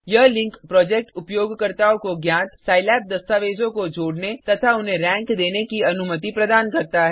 यह link project उपयोगकर्ताओं को ज्ञात सिलाब दस्तावेजों को जोड़ने तथा उन्हें रैंक देने की अनुमति प्रदान करता है